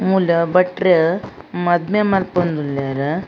ಮೂಲು ಭಟ್ರ್ ಮದ್ಮೆ ಮಲ್ಪೊಂದು ಉಲ್ಲೆರ್.